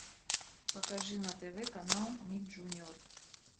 покажи на тв канал ник джуниор